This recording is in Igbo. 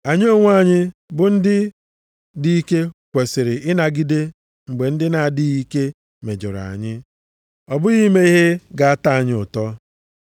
Anyị onwe anyị bụ ndị dị ike kwesiri ịnagide mgbe ndị na-adịghị ike mejọrọ anyị, ọ bụghị ime ihe ga-atọ anyị ụtọ.